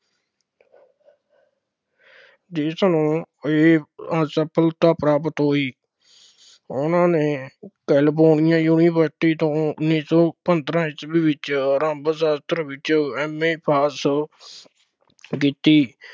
ਦੇਸ਼ ਨੂੰ ਇਹ ਅਸਫਲਤਾ ਪ੍ਰਾਪਤ ਹੋਈ, ਉਹਨਾ ਨੇ ਕੈਲੀਫੋਰਨੀਆਂ ਯੂਨੀਵਰਸਿਟੀ ਤੋਂ ਉੱਨੀ ਸੌ ਪੰਦਰਾਂ ਈਸਵੀ ਵਿੱਚ ਸਾਸਤਰ ਵਿੱਚ MA pass ਕੀਤੀ।